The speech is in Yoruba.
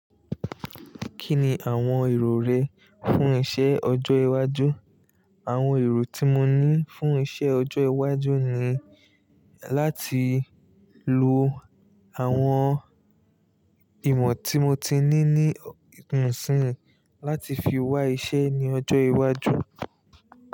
Kí ni àwọn èrò rẹ fún iṣẹ́ ọjọ́ iwájú? Àwọn èrò tí mo ní fún iṣẹ́ ọjọ́ iwájú ni láti lo àwọn ìmọ̀ tí mo ti ní ní ìsìn láti fi wá iṣẹ́ ní ọjọ́ iwájú.